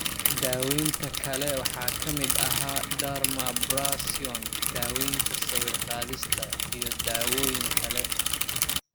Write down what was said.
Daawaynta kale waxaa ka mid ahaa dermabrasion, daawaynta sawir-qaadista, iyo dawooyin kale.